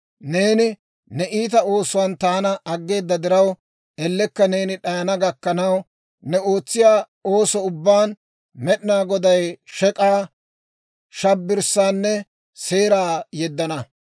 «Neeni ne iita oosuwaan taana aggeeda diraw, ellekka neeni d'ayana gakkanaw, ne ootsiyaa ooso ubbaan Med'inaa Goday shek'k'aa, shabbirssaanne seeraa yeddana.